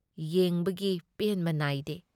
ꯌꯦꯡꯕꯒꯤ ꯄꯦꯟꯕ ꯅꯥꯥꯏꯗꯦ